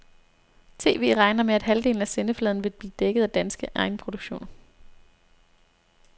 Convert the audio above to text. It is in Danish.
TV regner med, at halvdelen af sendefladen vil blive dækket af danske egenproduktioner.